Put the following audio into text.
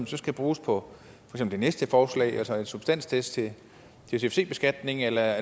så skal bruges på det næste forslag altså en substanstest til cfc beskatning eller